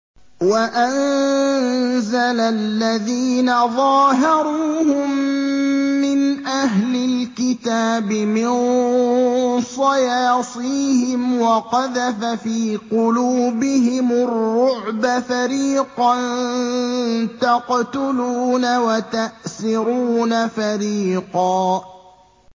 وَأَنزَلَ الَّذِينَ ظَاهَرُوهُم مِّنْ أَهْلِ الْكِتَابِ مِن صَيَاصِيهِمْ وَقَذَفَ فِي قُلُوبِهِمُ الرُّعْبَ فَرِيقًا تَقْتُلُونَ وَتَأْسِرُونَ فَرِيقًا